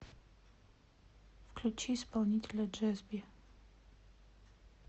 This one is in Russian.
включи исполнителя джесби